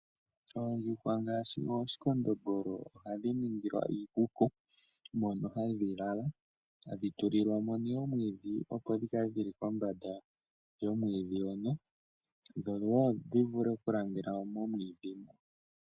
Oondjuhwa ngaashi omakondombolo ohadhi ningilwa iikuku mono hadhi lala. Ohadhi tulilwa mo omwiidhi, opo dhi kale dhi li kombanda yomwiidhi, dhowo dhi vule oku lala komwiidhi hoka.